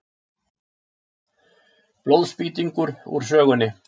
Blóðspýtingur úr sögunni.